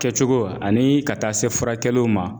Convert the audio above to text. Kɛcogo ani ka taa se furakɛliw ma